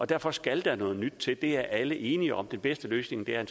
derfor skal der noget nyt til det er alle enige om den bedste løsning er